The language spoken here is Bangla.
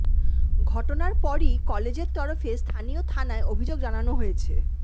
ঘটনার পরই কলেজের তরফে স্থানীয় থানায় অভিযোগ জানানো হয়েছে